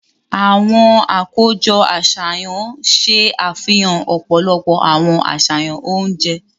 Awọn akojọ aṣayan ṣe àfihàn ọpọlọpọ awọn aṣayan oúnjẹ.